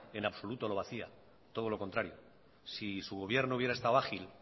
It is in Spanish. en absoluto lo vacía todo lo contrario si su gobierno hubiera estado ágil